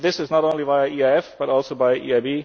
And this is not only via EIF, but also by